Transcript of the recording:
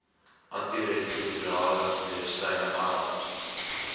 antiretrovirale medisyne arms